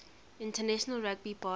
international rugby board